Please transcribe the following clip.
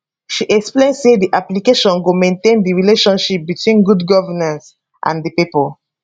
she explain say di application go maintain di relationship between good governance and di pipo